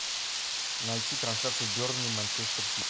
найти трансляцию бернли манчестер сити